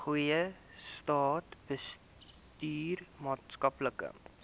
goeie staatsbestuur maatskaplike